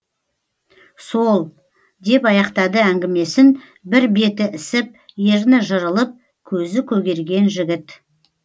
сол деп аяқтады әңгімесін бір беті ісіп ерні жырылып көзі көгерген жігіт